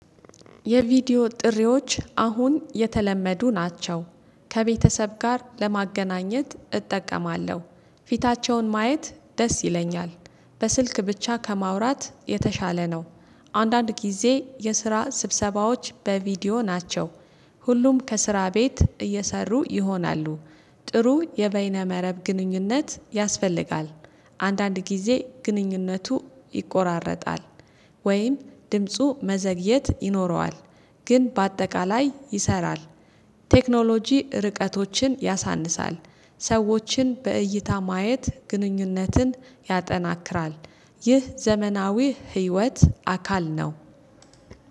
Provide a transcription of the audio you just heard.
የቪዲዮ ጥሪዎች አሁን የተለመዱ ናቸው። ከቤተሰብ ጋር ለማገናኘት እጠቀማለሁ ፊታቸውን ማየት ደስ ይለኛል። በስልክ ብቻ ከማውራት የተሻለ ነው። አንዳንድ ጊዜ የስራ ስብሰባዎች በቪዲዮ ናቸው። ሁሉም ከስራ ቤት እየሰሩ ይሆናሉ። ጥሩ የበይነ መረብ ግንኙነት ያስፈልጋል። አንዳንድ ጊዜ ግንኙነቱ ይቆራረጣል። ወይም ድምፁ መዘግየት ይኖረዋል። ግን በአጠቃላይ ይሰራል። ቴክኖሎጂ ርቀቶችን ያሳንሳል ሰዎችን በእይታ ማየት ግንኙነትን ያጠናክራል። ይህ ዘመናዊ ህይወት አካል ነው